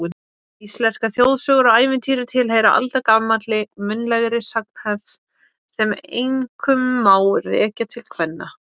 Íslenskar þjóðsögur og ævintýri tilheyra aldagamalli munnlegri sagnahefð sem einkum má rekja til kvenna.